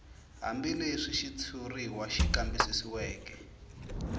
hambileswi xitshuriwa xi kambisisiweke